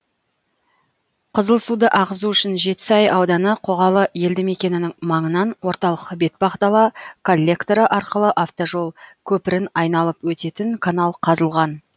қызылсуды ағызу үшін жетісай ауданы қоғалы елді мекенінің маңынан орталық бетпақдала коллекторы арқылы автожол көпірін айналып өтетін канал қазылған